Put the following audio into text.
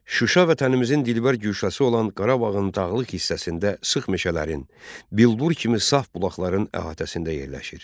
Şuşa Vətənimizin dilbər güşəsi olan Qarabağın dağlıq hissəsində sıx meşələrin, bilbur kimi saf bulaqların əhatəsində yerləşir.